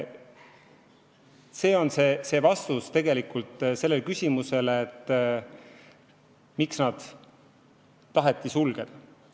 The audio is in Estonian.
See on vastus küsimusele, miks need osakonnad taheti sulgeda.